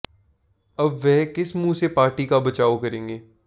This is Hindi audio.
अब वह किस मुँह से पार्टी का बचाव करेंगे